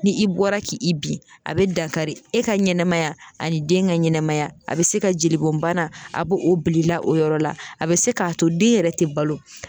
Ni i bɔra ki i bin a bɛ dankari e ka ɲɛnamaya ani den ka ɲɛnɛmaya a bɛ se ka jelibɔnbana a bo o bil'i la o yɔrɔ la a bɛ se k'a to den yɛrɛ tɛ balo.